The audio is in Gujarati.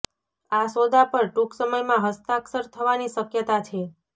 આ સોદા પર ટૂંક સમયમાં હસ્તાક્ષર થવાની શક્યતા છે